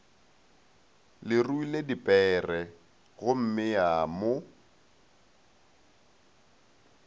le ruile dipere gommea mo